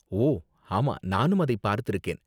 ஓ ஆமா! நானும் அதை பார்த்திருக்கேன்.